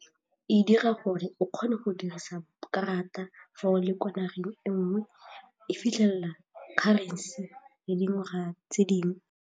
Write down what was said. E dira gore o kgone go dirisa karata fa o le ko nageng e nngwe, e fitlhelela currency le dingwaga tse dingwe.